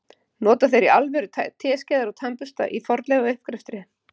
Nota þeir í alvöru teskeiðar og tannbursta í fornleifauppgreftri?